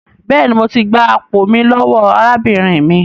Béèni, mọ tí gbà àpò mí lówó arábìnrin mí.